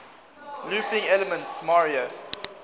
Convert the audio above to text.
looping elements mario